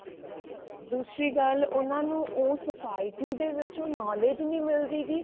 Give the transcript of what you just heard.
ਦੂਸਰੀ ਗੱਲ ਉਹਨਾਂ ਨੂੰ ਸੋ i think ਦੇ ਵਿੱਚ ਉਹਨਾਂ ਨੂੰ ਉਹ knowledge ਨੀ ਮਿਲਦੀ ਗੀ